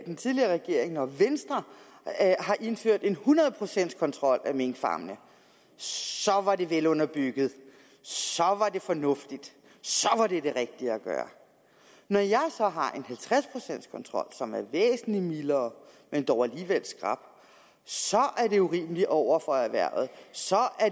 den tidligere regering og venstre har indført en hundrede procents kontrol af minkfarmene så var det velunderbygget så var det fornuftigt så var det det rigtige at gøre når jeg så har en halvtreds procents kontrol som er væsentlig mildere men dog alligevel skrap så er det urimeligt over for erhvervet så er